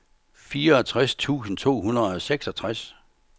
fireogtres tusind to hundrede og seksogtres